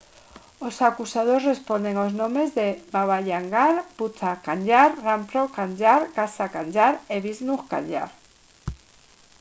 os acusados responden aos nomes de baba kanjar bhutha kanjar rampro kanjar gaza kanjar e vishnu kanjar